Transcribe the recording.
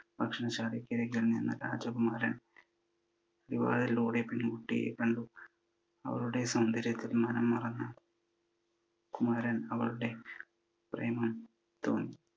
ഭക്ഷണശാലക്ക് അരികിൽ നിന്ന് രാജകുമാരൻ കിളി വാതിലിലൂടെ പെൺകുട്ടിയെ കണ്ടു. അവരുടെ സൗന്ദര്യത്തിൽ മനം മറന്ന കുമാരൻ അവളുടെ പ്രേമം തോന്നി.